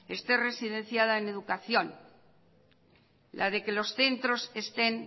esté residenciada en educación la de que los centros estén